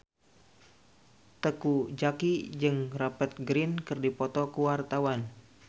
Teuku Zacky jeung Rupert Grin keur dipoto ku wartawan